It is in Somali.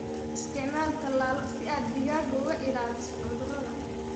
Isticmaal tallaallo si aad digaagga uga ilaaliso cudurrada.